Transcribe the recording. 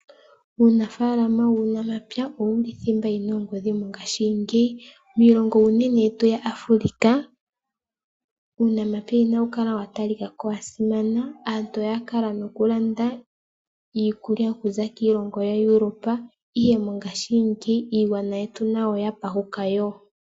Uunafaalama wuunamapya owuli thimba yi na ongodhi mongashingeyi. Miilongo unene yetu yaAfrika uunamapya inawu kala watalika ko onga wasimana, aantu oyakala noku landa iikulya okuza kiilongo yaEuropa ihe mongashingeyi iigwana yetu nayo oyapashuka woo.